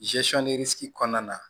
kɔnɔna na